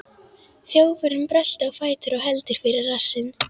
Þjófurinn bröltir á fætur og heldur fyrir rassinn.